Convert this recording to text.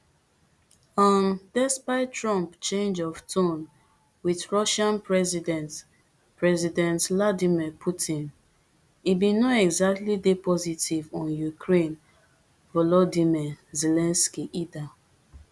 um despite trump change of tone with russian president president vladimir putin e bin no exactly dey positive on ukraine volodymyr zelensky either